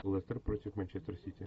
лестер против манчестер сити